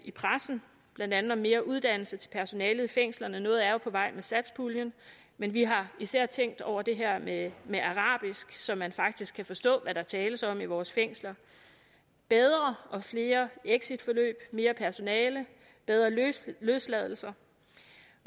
i pressen blandt andet om mere uddannelse til personalet i fængslerne noget er jo på vej med satspuljen men vi har især tænkt over det her med med arabisk så man faktisk kan forstå hvad der tales om i vores fængsler bedre og flere exitforløb mere personale bedre løsladelser